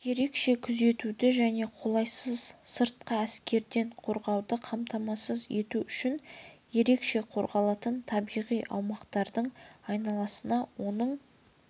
ерекше күзетуді және қолайсыз сыртқы әсерден қорғауды қамтамасыз ету үшін ерекше қорғалатын табиғи аумақтардың айналасына оның